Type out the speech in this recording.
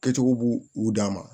Kɛcogo b'u u dan ma